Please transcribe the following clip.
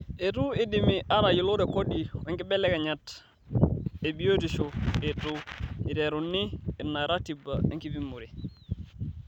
Eitu eidimi aatayiolo rekodi oonkibelekenyat e biotisho eitu eiterunye ina ratiba enkipimore.